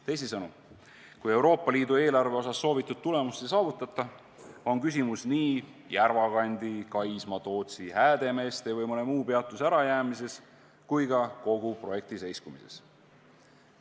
Teisisõnu, kui Euroopa Liidu eelarve osas soovitud tulemust ei saavutata, on küsimus nii Järvakandi, Kaisma, Tootsi, Häädemeeste või mõne muu peatuse ärajäämises kui ka kogu projekti seiskumises.